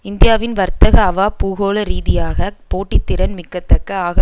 இந்தியாவின் வர்த்தக அவா பூகோள ரீதியாக போட்டித்திறன் மிக்கதாக ஆக